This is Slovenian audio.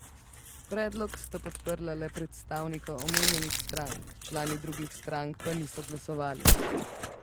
Predlog sta podprla le predstavnika omenjenih strank, člani drugih strank pa niso glasovali.